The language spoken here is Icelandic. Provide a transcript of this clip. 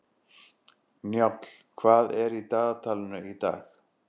Njáll, hvað er í dagatalinu í dag?